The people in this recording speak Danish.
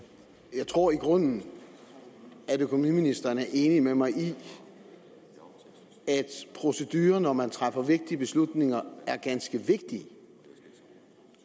jeg tror i grunden at økonomiministeren er enig med mig i at proceduren når man træffer vigtige beslutninger er ganske vigtig